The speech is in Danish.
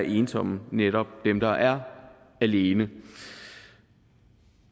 ensomme netop dem der er alene